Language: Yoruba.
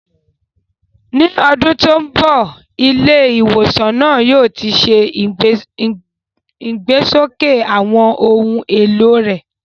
Ní ọdún tó ń bọ̀, ilé ìwòsàn náà yóò ti ṣe ìgbésókè àwọn ohun èlò rẹ̀.